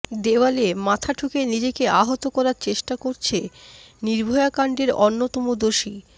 দেওয়ালে মাথা ঠুকে নিজেকে আহত করার চেষ্টা করেছে নির্ভয়াকাণ্ডের অন্যতম দোষী